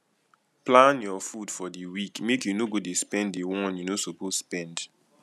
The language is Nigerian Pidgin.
plan your food for di week make you no go de spend di one you no suppose spend